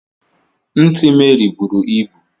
Ntị Mary bụrụ ịbụ.